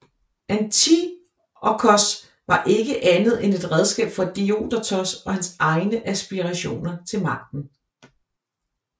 Antiochos var ikke andet et et redskab for Diodotos og hans egne aspirationer til magten